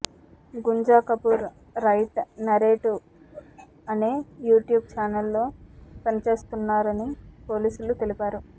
Gunja Kapoor right narrative అనే యుట్యూబ్ ఛానల్లో పనిచేస్తున్నారని పోలీసులు తెలిపారు